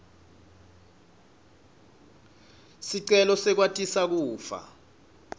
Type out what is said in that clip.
sicelo sekwatisa kufa